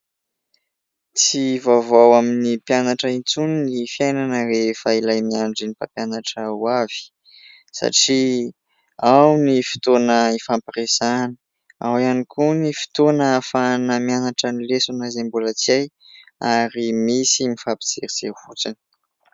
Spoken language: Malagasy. Tsy vaovao amin'ny mpianatra intsony ny fiainana rehefa ilay miandry ny mpampianatra ho avy satria ao ny fitoana hifampiresahana, ao iany koa ny fitoana afahana mianatra ny lesona izay mbola tsy ay, ary misy mifampijerijery fotsiny.